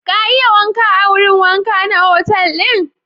Ka iya wanka a wurin wanka na otal ɗin?